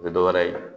O tɛ dɔwɛrɛ ye